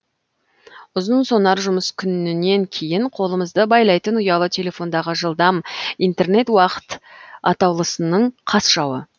ұзынсонар жұмыс күнінен кейін қолымызды байлайтын ұялы телефондағы жылдам интернет уақыт атаулысының қас жауы